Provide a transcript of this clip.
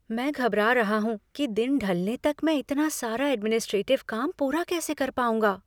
मैं घबरा रहा हूँ कि दिन ढलने तक मैं इतना सारा एडमिनिस्ट्रेटिव काम पूरा कैसे कर पाऊंगा।